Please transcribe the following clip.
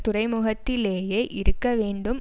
துறைமுகத்திலேயே இருக்க வேண்டும்